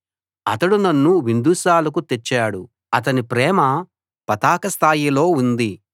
అతడు నన్ను విందుశాలకు తెచ్చాడు అతని ప్రేమ పతాక స్థాయిలో ఉంది